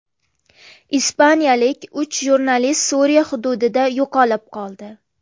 Ispaniyalik uch jurnalist Suriya hududida yo‘qolib qoldi.